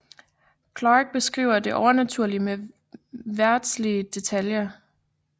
Clarke beskriver det overnaturlige med verdslige detaljer